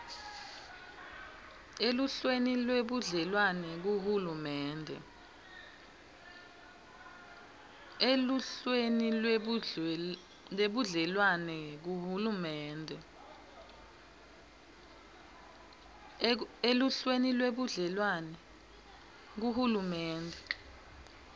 eluhlelweni lwebudlelwane kuhulumende